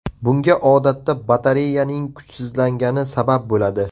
Bunga odatda batareyaning kuchsizlangani sabab bo‘ladi.